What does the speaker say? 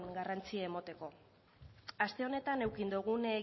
garrantzia emateko aste honetan eduki dugun